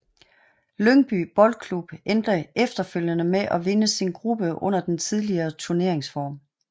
Lyngby Boldklub endte efterfølgende med at vinde sin gruppe under den tidligere turneringsform